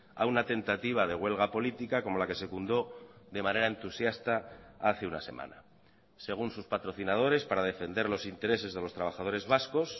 a una tentativa de huelga política como la que secundó de manera entusiasta hace una semana según sus patrocinadores para defender los intereses de los trabajadores vascos